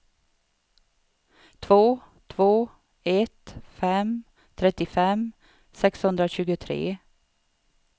två två ett fem trettiofem sexhundratjugotre